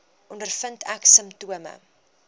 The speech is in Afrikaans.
ondervind ek simptome